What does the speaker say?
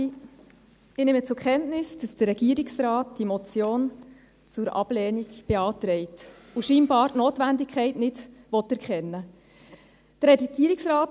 Ich nehme zur Kenntnis, dass der Regierungsrat diese Motion zur Ablehnung empfiehlt und anscheinend die Notwendigkeit nicht erkennen will.